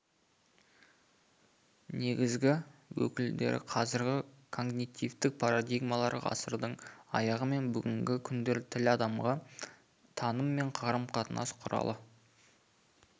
негізгі өкілдері қазіргі когнитивтік парадигмалар ғасырдың аяғы мен бүгінгі күндер тіл адамға таным және қарым-қатынас құралы